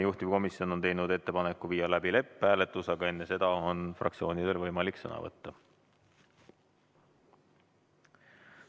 Juhtivkomisjon on teinud ettepaneku viia läbi lõpphääletus, aga enne seda on fraktsioonidel võimalik sõna võtta.